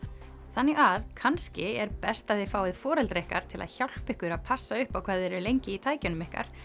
þannig að kannski er best að þið fáið foreldra ykkar til að hjálpa ykkur að passa upp á hvað þið eruð lengi í tækjunum ykkar